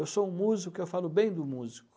Eu sou um músico, eu falo bem de músico.